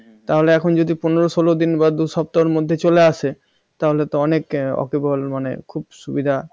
তাহলে এখন পনেরো ষোলো দিন বা দু সপ্তাহের মধ্যে চলে আসে তাহলে তো অনেক মানে খুব সুবিধা